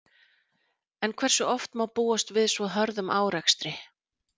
En hversu oft má búast við svo hörðum árekstri?